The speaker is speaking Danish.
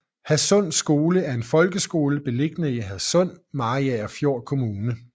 Hadsund Skole er en folkeskole beliggende i Hadsund i Mariagerfjord Kommune